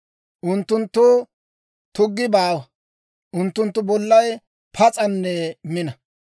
Unttunttoo tuggi baawa. Unttunttu bollay pas's'anne mina.